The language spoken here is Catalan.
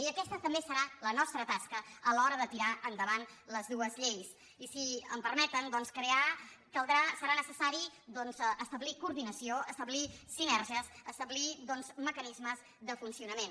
i aquesta també serà la nostra tasca a l’hora de tirar endavant les dues lleis i si em permeten caldrà serà necessari doncs establir coordinació establir sinergies establir mecanismes de funcionament